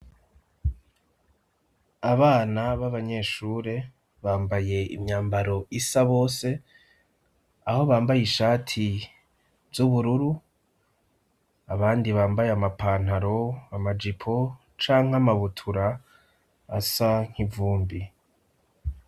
Abana b'abanyeshure bambaye imyambaro isa bose aho bambaye ishati z'ubururu abandi bambaye amapantaro, amajipo canke amabutura asa nk'ivumbi.